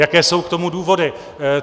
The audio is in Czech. Jaké jsou k tomu důvody?